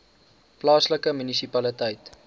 plaaslike munisipaliteit